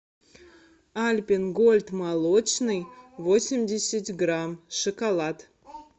альпен гольд молочный восемьдесят грамм шоколад